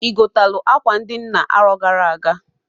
I gotalụ akwa ndị nna aro gara aga?